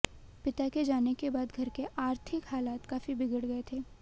पिता के जाने के बाद घर के अार्थिक हालात काफी बिगड़ गए थे